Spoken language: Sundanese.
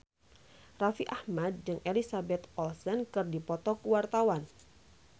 Raffi Ahmad jeung Elizabeth Olsen keur dipoto ku wartawan